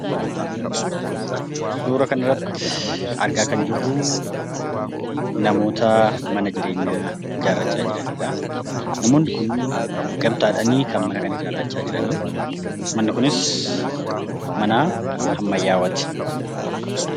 Suuraa kanarratti argaa kan jirru namoota mana jireenyaa ijaarrachaa jiranidha . Namoonni kunniin gamtaadhaan kan mana kana ijaarrachaa jirani, manni kunis mana ammayyaawaati.